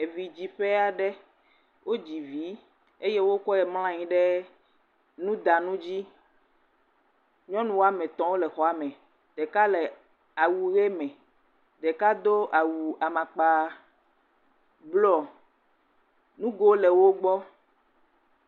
Evidziƒe aɖe. wodzi vi eye wokɔe mlɔ anyi ɖe nudanu dzi. Nyɔnu ame etɔ̃ wo le xɔa me. Ɖeka le awu ʋi me. Ɖeka do awu amakpa blɔ. Nugo le wo gbɔ.